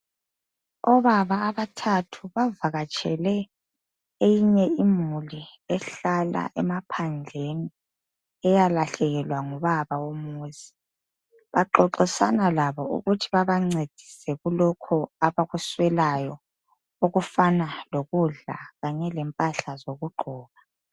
Obaba abathathu bavakatshele eyinye imuli ehlala emaphandleni, eyalahlekelwa ngubaba womuzi. Bexoxisana labo ukuthi babancedise kulokho abakuswelayo, okufana lokudla kanye lempahla zokugqoka.